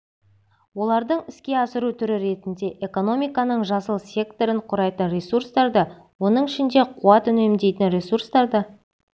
оларды іске асыру түрі ретінде экономиканың жасыл секторын құрайтын ресурстарды оның ішінде қуат үнемдейтін ресурстарды